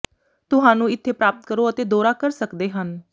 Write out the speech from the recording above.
ਤੁਹਾਨੂੰ ਇੱਥੇ ਪ੍ਰਾਪਤ ਕਰੋ ਅਤੇ ਦੌਰਾ ਕਰ ਸਕਦੇ ਹਨ